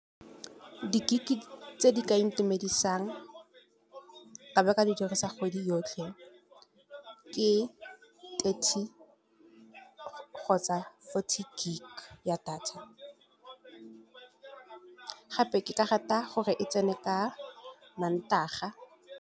Di gig tse di ka intumedisang ka be ka di dirisa kgwedi yotlhe, ke thirty kgotsa fourty gig ya data, gape ke ka rata gore e tsene ka mantaga.